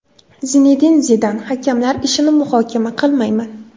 Zinedin Zidan: Hakamlar ishini muhokama qilmayman.